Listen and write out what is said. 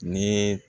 Ni